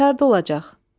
Bəs harda olacaq?